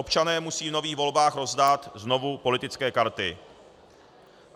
Občané musí v nových volbách rozdat znovu politické karty.